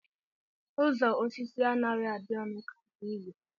Uzo osi anaghi adi onu ka nke igwe